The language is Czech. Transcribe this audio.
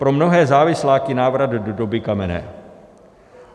Pro mnohé závisláky návrat do doby kamenné.